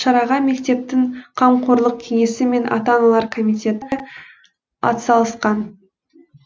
шараға мектептің қамқорлық кеңесі мен ата аналар комитеті атсалысқан